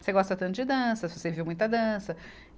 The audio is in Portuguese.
Você gosta tanto de dança, você viu muita dança.